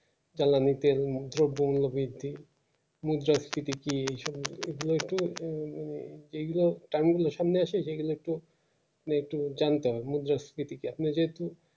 দ্রব মূল্য বৃদ্ধি এ মানে এগুলো তামিলিও সামনে আসে যে গুলো কে মানে যেহেতু